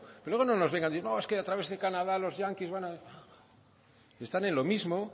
pero luego no nos vengan no es que a través de canadá los yanquis van a están en lo mismo